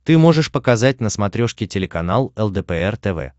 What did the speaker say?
ты можешь показать на смотрешке телеканал лдпр тв